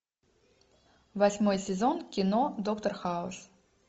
восьмой сезон кино доктор хаус